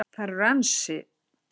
Þar eru ansi